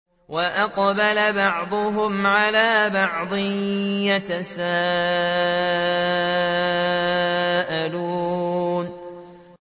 وَأَقْبَلَ بَعْضُهُمْ عَلَىٰ بَعْضٍ يَتَسَاءَلُونَ